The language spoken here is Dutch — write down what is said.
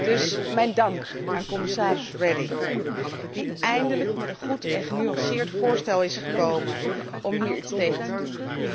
Dus, mijn dank aan commissaris Reding, die eindelijk met een goed en genuanceerd voorstel is gekomen om hier iets tegen te doen.